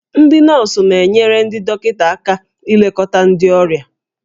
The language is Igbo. Ndị nọọsụ na-enyere ndị dọkịta aka ilekọta ndị ọrịa